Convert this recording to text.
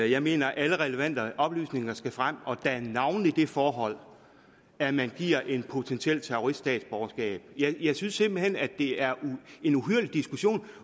jeg mener at alle relevante oplysninger skal frem navnlig det forhold at man giver en potentiel terrorist statsborgerskab jeg synes simpelt hen at det er en uhyrlig diskussion